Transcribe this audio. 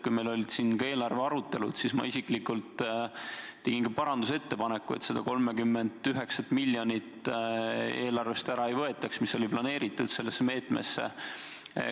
Kui meil olid siin eelarvearutelud, siis ma isiklikult tegin parandusettepaneku, et seda 39 miljonit eelarvest ära ei võetaks, mis oli planeeritud selle meetme jaoks.